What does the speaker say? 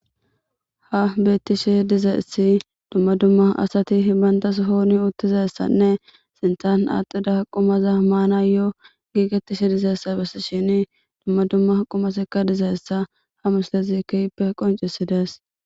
ha beettishe dizaessi dumma dumma asati hibantas hooni uttizayssanne sintan axida qumaza maana yoo giigettishe dizayessa bessi shini dumma dumma qumasekka dizayessa ha muslezikippe qoncisides